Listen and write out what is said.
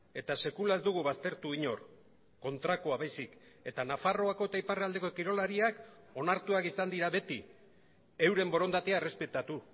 eta sekula ez dugu baztertu inor kontrakoa baizik eta nafarroako eta iparraldeko kirolariak onartuak izan dira beti euren borondatea errespetatu